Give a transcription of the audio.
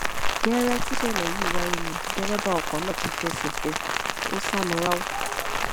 gẹ́rẹ́ tíṣẹ̀lẹ̀ yìí wáyé ni dẹ́rẹ́bà ọkọ̀ náà ti fẹsẹ fẹ́ ẹ ó sálọ ráú